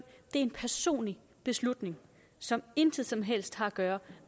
er en personlig beslutning som intet som helst har at gøre